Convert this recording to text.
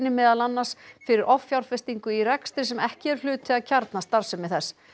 meðal annars fyrir offjárfestingu í rekstri sem ekki er hluti af kjarnastarfsemi þess